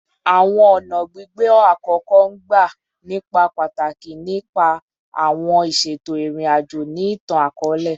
Awọn ọna gbigbe akoko n gba ni pataki ni ipa awọn iṣeto irin-ajo ni itan-akọọlẹ